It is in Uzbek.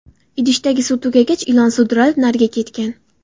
Idishdagi suv tugagach ilon sudralib nariga ketgan.